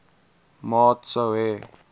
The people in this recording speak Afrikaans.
maat sou hê